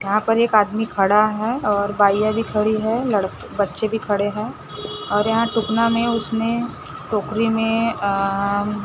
वहां पर एक आदमी खड़ा है और बइया भी खड़ी है लड़के बच्चे भी खड़े हैं और यहां टूकना में उसने टोकरी में आ--